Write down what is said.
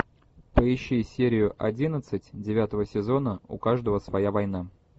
поищи серию одиннадцать девятого сезона у каждого своя война